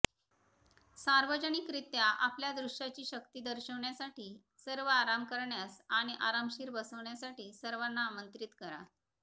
सार्वजनिकरित्या आपल्या दृश्याची शक्ती दर्शविण्यासाठी सर्व आराम करण्यास आणि आरामशीर बसविण्यासाठी सर्वांना आमंत्रित करा